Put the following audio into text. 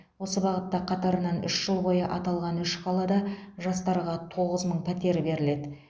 осы бағытта қатарынан үш жыл бойы аталған үш қалада жастарға тоғыз мың пәтер беріледі